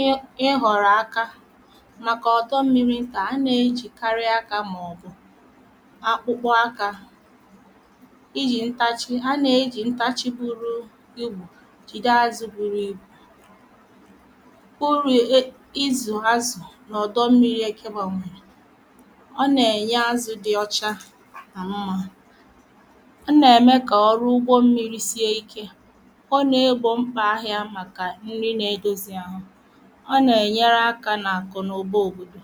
ihe ịghọ̀rọ̀ aka màkà ọ̀dọ mmiri̇ ntà anà ejì karịa akȧ màọ̀bụ̀ akpụkpọ akȧ ijì ntachi, anà ejì ntachi buru ibu jìde azụ̇ buru ibù, uru ịzụ̀ azụ̀ n’ọ̀dọ mmiri eke bȧnyèrè ọ nà-ènye azụ̇ dị̇ ọcha na mmà, ọ na-eme ka ọrụ ugbo mmiri sie Ike, ọ na-egbò mkpà ahịà makà nri na-edozi ahụ̀ ọ na-enyere akà n’akụ̀ n’ụbà òbòdò.